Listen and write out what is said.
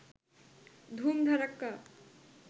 ধুম ধাড়াক্কা